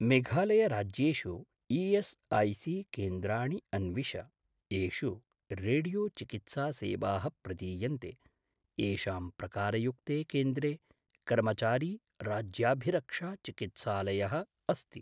मेघालय राज्येषु ई.एस्.ऐ.सी.केन्द्राणि अन्विष येषु रेडियो चिकित्सासेवाः प्रदीयन्ते, येषां प्रकारयुक्ते केन्द्रे कर्मचारी राज्याभिरक्षा-चिकित्सालयः अस्ति।